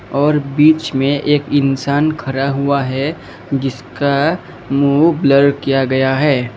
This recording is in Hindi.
और बीच में एक इंसान खरा हुआ है। जिसका मुंह ब्लर किया गया है।